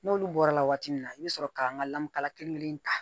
N'olu bɔra la waati min na i bɛ sɔrɔ ka n ka lamukala kelen kelen ta